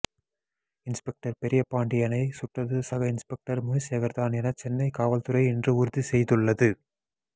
inspector பெரியபாண்டியனை சுட்டது சக இன்ஸ்பெக்டர் முனிசேகர் தான் என சென்னை காவல்துறை இன்று உறுதி செய்துள்ளது